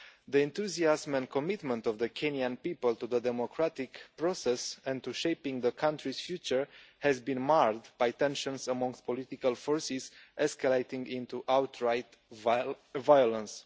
The enthusiasm and commitment of the Kenyan people to the democratic process and to shaping the country's future has been marred by tensions amongst political forces escalating into outright violence.